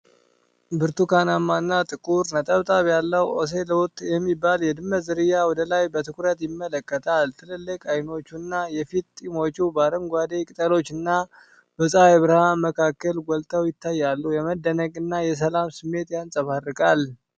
ብርቱካናማና ጥቁር ነጠብጣብ ያለው ኦሴሎት የሚባል የድመት ዝርያ ወደ ላይ በትኩረት ይመለከታል። ትልልቅ ዓይኖቹና የፊት ጢሞቹ በአረንጓዴ ቅጠሎችና በፀሐይ ብርሃን መካከል ጎልተው ይታያሉ። የመደነቅ እና የሰላም ስሜት ያንጸባርቃል።